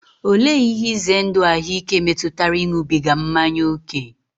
Olee ihe ize ndụ ahụike metụtara ịṅụbiga mmanya ókè?